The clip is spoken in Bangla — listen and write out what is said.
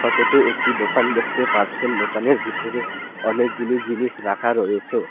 ফটোতে একটি দোকান দেখতে পারসেন দোকানের ভিতরে অনেকগুলি জিনিস রাখা রয়েছেও।